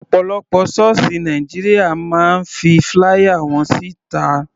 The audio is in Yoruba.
Ọ̀pọ̀lọpọ̀ sọ́ọ̀sì Nàìjíríà máa ń fi flier wọn sí ta.